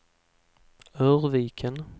Örviken